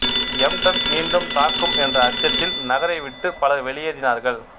எம்டன் மீண்டும் தாக்கும் என்ற அச்சத்தில் நகரை விட்டு பலர் வெளியேறினார்கள்